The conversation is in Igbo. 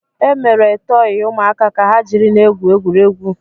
Emere tọọyị ụmụaka ka ha jiri na-egwu egwuregwu.